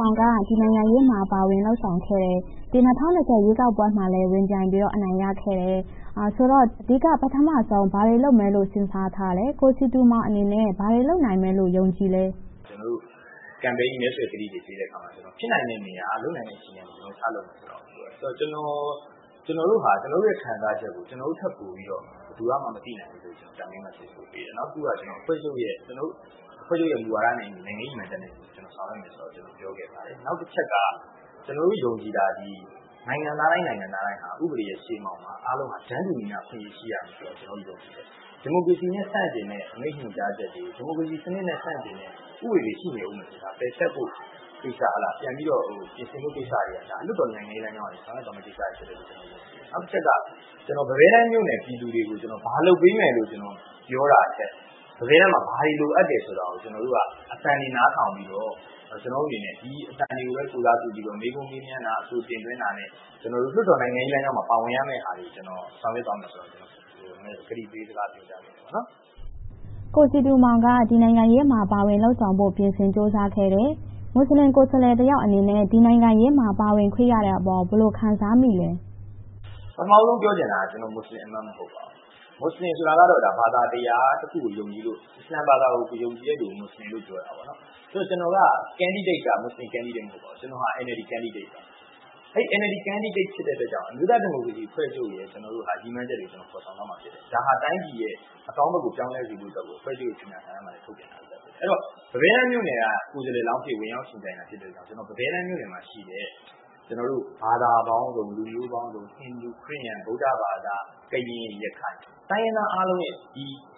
မောင်က ဒီနိုင်ငံရေးမှာ ပါဝင်လုပ်ဆောင်လာခဲ့ပြီး ၂၀၂၀ ရွေးကောက်ပွဲမှာလည်း ဝင်ပြိုင်ပြီးတော့ အနိုင်ရရှိခဲ့တယ်ဆိုတော့ အဓိက ပထမဦးဆုံး ဘာတွေလုပ်မယ်လို့ စဉ်းစားထားပါလဲ။ ကိုစည်သူမောင်အနေနဲ့ ဘာတွေလုပ်နိုင်မယ်လို့ ယုံကြည်ပါလဲ။ ကျနော်တို့ Campaign မဲဆွယ်ကတိတွေ ပေးတဲ့အခါမှာ ဖြစ်နိုင်တဲ့နေရာ၊ လုပ်နိုင်တဲ့ အခြေအနေကနေ စလုပ်ဖို့ ပြောဆိုခဲ့တယ်။ ကျနော်တို့ဟာ ကျနော်တို့ရဲ့ ခံစားချက်ကို ကျနော်တို့ထက်ပိုပြီးတော့ ဘယ်သူကမှ မသိနိုင်ဘူးဆိုပြီး Campaign မှာ ပြောဆိုခဲ့တယ်။ နောက်တစ်ခုက ကျနော်တို့ အဖွဲ့ချုပ်ရဲ့ နိုင်ငံရေးရည်မှန်းချက်နဲ့အညီ ဆောင်ရွက်သွားမယ်ဆိုတာကို ပြောခဲ့ပါတယ်။ နောက်တစ်ချက်က ကျနော်တို့ ယုံကြည်တာသည် နိုင်ငံသားတိုင်း၊ နိုင်ငံသားတိုင်းသည် ဥပဒေရဲ့ ရှေ့မှောက်မှာ တန်းတူညီမျှ အခွင့်အရေး ရှိရမယ်လို့ ကျနော်တို့ ယုံကြည်တယ်။ ဒီမိုကရေစီနဲ့ ဆန့်ကျင်တဲ့ အမိန့်ညွှန်ကြားချက်တွေ၊ ဒီမိုကရေစီနဲ့ ဆန့်ကျင်တဲ့ ဥပဒေတွေ ရှိနေမယ်ဆိုရင် ပယ်ဖျက်ဖို့ကိစ္စ၊ ပြန်ပြီးတော့ ပြင်ဆင်ဖို့ကိစ္စတွေက လွှတ်တော်နိုင်ငံရေးလမ်းကြောင်းကနေ ဆောင်ရွက်သွားရမှာဖြစ်တယ်လို့ ကျနော် ယုံကြည်တယ်။ နောက်တစ်ချက်က ပန်းဘဲတန်းမြို့နယ် ပြည်သူတွေကို ဘာလုပ်ပေးမယ်လို့ ပြောတာထက် ပန်းဘဲတန်းမှာ ဘာတွေလိုအပ်တယ်ဆိုတာကို ကျနော်တို့က အသံနားထောင်ပြီးတော့ ကျနော်တို့အနေနဲ့ ဒီအသံတွေကိုပဲ ကိုယ်စားပြုပြီးတော့ မေးခွန်းမေးမြန်းတာ၊ အဆိုတင်သွင်းတာနဲ့ လွှတ်တော်နိုင်ငံရေးလမ်းကြောင်းမှာ ပါဝင်ရမယ့်ဟာတွေကို ဆောင်ရွက်သွားမယ်ဆိုတာတွေကို ကျနော် ကတိပေးပြောကြားခဲ့ပါတယ်။ ကိုစည်သူမောင်က ဒီနိုင်ငံရေးမှာ ပါဝင်လုပ်ဆောင်ဖို့ ပြင်ဆင်ကြိုးစားခဲ့တယ်။ မူစလင်ကိုယ်စားလှယ်တစ်ယောက်အနေနဲ့ ဒီနိုင်ငံရေးမှာ ပါဝင်ခွင့်ရတဲ့အပေါ် ဘယ်လိုခံစားမိသလဲ။ ပထမဦးဆုံး ပြောချင်တာက ကျနော်က မူစလင်အမတ် မဟုတ်ပါဘူး။ မူစလင်ဆိုတာကတော့ ဘာသာတရားတစ်ခုကို ယုံကြည်လို့၊ အစ္စလာမ်ဘာသာကို ကိုးကွယ်ယုံကြည်သူကို မူစလင်လို့ ပြောတာပါ။ ကျနော်က ကိုယ်စားလှယ်လောင်းက မူစလင်ကိုယ်စားလှယ် မဟုတ်ပါဘူး။ NLD အမတ် ဖြစ်ပါတယ်။ NLD ကိုယ်စားလှယ်ဖြစ်တဲ့အတွက်ကြောင့် အမျိုးသားဒီမိုကရေစီအဖွဲ့ချုပ်ရဲ့ ရည်မှန်းချက်တွေကို ဖော်ဆောင်သွားမှာ ဖြစ်ပါတယ်။ တိုင်းပြည်ရဲ့ အကောင်းဘက်ကို ပြောင်းလဲစေဖို့အတွက်ကို အဖွဲ့ချုပ်ရဲ့ ကြေညာစာတမ်းမှာလည်း ထုတ်ဖော်ကြေညာထားပြီးလည်း ဖြစ်ပါတယ်။ အဲဒီတော့ ပန်းဘဲတန်းမြို့နယ်က ကိုယ်စားလှယ်လောင်းအဖြစ် ဝင်ရောက်ယှဉ်ပြိုင်တာ ဖြစ်တဲ့အတွက် ပန်းဘဲတန်းမြို့နယ်မှာရှိတဲ့ ဘာသာပေါင်းစုံ၊ လူမျိုးပေါင်းစုံ၊ ဟိန္ဒူ၊ ခရစ်ယာန်၊ ဗုဒ္ဓဘာသာ၊ ကရင်၊ ရခိုင် တိုင်းရင်းသားအားလုံး -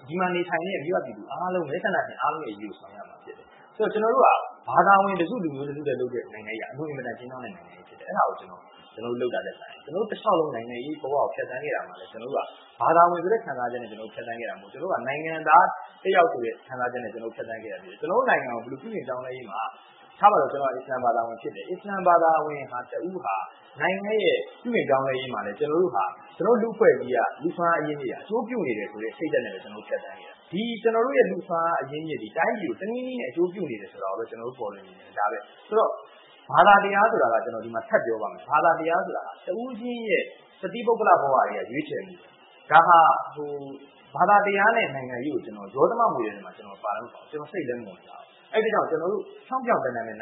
ဒီမှာနေထိုင်ကြတဲ့ မိဘပြည်သူ၊ မဲဆန္ဒရှင်အားလုံးရဲ့ အရေးကို ဆောင်ရွက်ရမှာဖြစ်တယ်။ ကျနော်တို့က ဘာသာဝင်တစ်စု၊ လူမျိုးစုတစ်စုအတွက်လုပ်တဲ့ နိုင်ငံရေးက အလွန်ကျဉ်းမြောင်းတဲ့ နိုင်ငံရေး ဖြစ်တယ်။ အဲဒါကို လုပ်တာထက်စာရင် ကျနော်တို့တလျှောက်လုံး နိုင်ငံရေးဘဝကို ဖြတ်သန်းလာတဲ့အခါမှာ ကျနော်တို့က ဘာသာဝင်ဆိုတဲ့ ခံစားချက်နဲ့ ဖြတ်သန်းခဲ့တာ မဟုတ်ဘူး။ နိုင်ငံသားတစ်ယောက်ဆိုတဲ့ ခံစားချက်နဲ့ ဖြတ်သန်းခဲ့တာ ဖြစ်တယ်။ ကျနော်တို့ နိုင်ငံ ပြုပြင်ပြောင်းလဲရေးမှာ ထားပါတော့ ကျနော်က အစ္စလာမ်ဘာသာဝင်ဖြစ်တယ်။ အစ္စလာမ်ဘာသာဝင်တစ်ဦးဟာ နိုင်ငံရဲ့ ပြုပြင်ပြောင်းလဲရေးမှာလည်း ကျနော်တို့ဟာ လူ့အဖွဲ့အစည်းမှာရှိတဲ့ လူစွမ်းအားအရင်းအမြစ်တွေက အကျိုးပြုနေတယ်ဆိုတဲ့ စိတ်ဓါတ်နဲ့ပဲ ဖြတ်သန်းခဲ့တာ။ ဒီလူ့စွမ်းအားအရင်းအမြစ်သည် တိုင်းပြည်ကို တနည်းနည်းဖြင့် အကျိုးပြုနေတယ်ဆိုတာကိုပဲ ကျနော်တို့ ပေါ်လွှင်စေချင်တယ်။ ဒါပဲ။ ဘာသာတရားဆိုတာက ထပ်ပြောပါမယ် တစ်ဦးချင်းရဲ့ တသီးပုဂ္ဂလိက ဘဝထဲကနေ ရွေးချယ်မှု ဖြစ်တယ်။ ဒါဟာ ဘာသာတရားနဲ့ နိုင်ငံရေးကို ရောသမမွှေတဲ့ထဲမှာ ကျနော်ပါလည်းမပါဘူး။ စိတ်လည်းမဝင်စားဘူး။ အဲဒီအတွက်ကြောင့် ကျနော်တို့ နို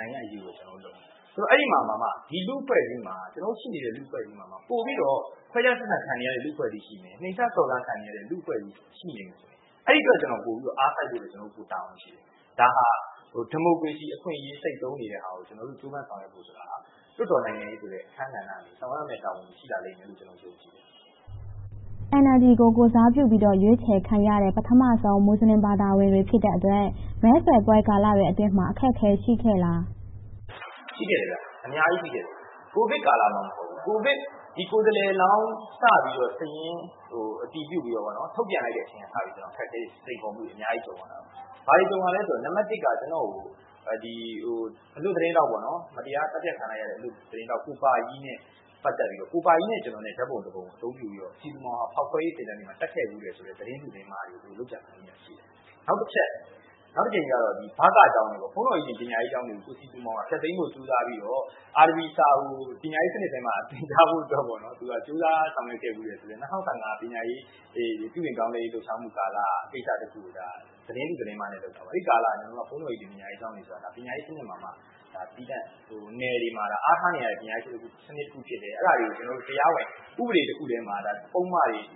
င်ငံရေးကို ဖြောင့်ဖြောင့်တန်းတန်းပဲ နိုင်ငံ့အရေးကိုပဲ လုပ်ဆောင်သွားမယ်။ အဲဒီမှာမှ ဒီလူ့အဖွဲ့အစည်းမှာ ပိုပြီးတော့ ခွဲခြားဆက်ဆံခံနေရတဲ့ လူ့အဖွဲ့အစည်းရှိမယ်။ နှိမ့်ချစော်ကားခံနေရတဲ့ လူ့အဖွဲ့အစည်း ရှိနေမယ်ဆိုရင် အဲဒီအတွက် ကျနော် ပိုပြီးတော့ အားစိုက်ဖို့ ပိုတာဝန်ရှိတယ်။ ဒါဟာ ဒီမိုကရေစီအခွင့်အရေး စိတ်သုဉ်းနေတာကို ကျနော်တို့ ကြိုးပမ်းဆောင်ရွက်ဖို့ဆိုတာ လွှတ်တော်နိုင်ငံရေးဆိုတဲ့ အခန်းကဏ္ဍကနေ ဆောင်ရွက်ရမယ့် တာဝန်တွေ ရှိလာလိမ့်မယ်လို့ ကျနော် ယုံကြည်တယ်။ NLD ကို ကိုယ်စားပြုပြီးတော့ ရွေးချယ်ခံရတဲ့ ပထမဦးဆုံး မူစလင်ဘာသာဝင်တွေ ဖြစ်တဲ့အတွက် မဲဆွယ်ပွဲကာလတွေအတွင်းမှာ အခက်အခဲတွေ ရှိခဲ့လား။ ရှိခဲ့တယ်။ အများကြီးရှိခဲ့တယ်။ ကိုဗစ်ကာလမှာမှ မဟုတ်ပါဘူး။ ဒီကိုယ်စားလှယ်လောင်း စပြီးတော့ စာရင်းအတည်ပြုပြီး ထုတ်ပြန်လိုက်တဲ့အချိန်ကတည်းက အခက်အခဲ၊ စိန်ခေါ်မှုတွေ အများကြီး ကြုံခဲ့ရတယ်။ ဘာတွေကြုံခဲ့ရသလဲဆိုတော့ ကျနော့်ကို အလွတ်သတင်းထောက် မတရားသတ်ဖြတ်ခံလိုက်ရတဲ့ ကိုပါကြီးနဲ့ ပတ်သက်ပြီးတော့ ကိုပါကြီးနဲ့ ကျနော်နဲ့ ဓါတ်ပုံတစ်ပုံကို အသုံးပြုပြီးတော့ စည်သူမောင်က ဖောက်ခွဲရေးသင်တန်းတွေမှာ တက်ခဲ့ဖူးတယ်ဆိုတဲ့ သတင်းတု၊ သတင်းမှားတွေကို လုပ်ကြံဖန်တီးခဲ့တာ ရှိတယ်။ နောက်တစ်ကြိမ်မှာတော့ ဘကကျောင်းတွေ - ဘုန်းတော်ကြီးသင် ပညာရေးကျောင်းတွေကို ကိုစည်သူမောင်က ဖျက်သိမ်းဖို့ ကြိုးစားပြီးတော့ အာရဗီစာကို ပညာရေးစနစ်ထဲမှာ သင်ကြားဖို့အတွက် သူက ကြိုးပမ်းဆောင်ရွက်ခဲ့ဖူးတယ်ဆိုတဲ့ ၂၀၁၅ ပညာရေးပြုပြင်ပြောင်းလဲရေးကာလ လှုပ်ရှားမှုကိစ္စတစ်ခုကို သတင်းတု၊ သတင်းမှားနဲ့ လုပ်ခဲ့တာပေါ့။ အဲဒီကာလမှာ ဘုန်းတော်ကြီးသင် ပညာရေးကျောင်းတွေဆိုတာ ပညာရေးစနစ်မှာ သီးသန့်၊ နယ်တွေမှာ အဓိကအားထားနေရတဲ့ စနစ်တစ်ခု ဖြစ်တယ်။ အဲဒါကို ကျနော်တို့က တရားဝင်ဥပဒေတစ်ခုထဲမှာ ပုဒ်မ